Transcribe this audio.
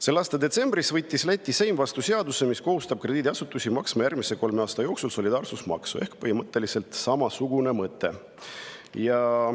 Selle aasta detsembris võttis Läti Seim vastu seaduse, mis kohustab krediidiasutusi maksma järgmise kolme aasta jooksul solidaarsusmaksu – ehk põhimõtteliselt samasugune mõte.